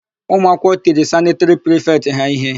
Ụmụakwụkwọ tiri sanịtịrị prifetị ha íhé.